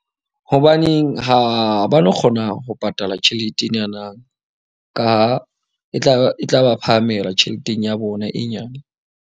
Hobaneng ha ba no kgona ho patala tjhelete enana, ka ha e e tla ba phahamela tjheleteng ya bona e nyane.